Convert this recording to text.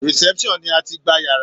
Reception ni a tií gba yàrá.